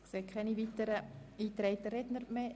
Ich sehe keine weiteren eingetragenen Redner mehr.